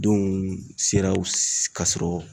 Denw sera u ka sɔrɔ